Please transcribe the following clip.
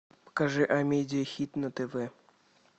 покажи амедиа хит на тв